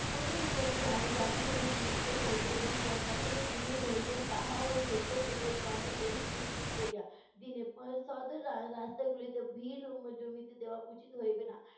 কোনো কোনো জা~ জাতি ধবনি তুলিতে হইবে এবং ক~ কখনও তুলি হইবে তাহাও স্বেচ্ছাসেবকগণ এই স্থির করিয়া দিনে, সদর রা~ রাস্তাগুলিতে ভিড় এর জমিতে দেয়া উচিত হইবে না।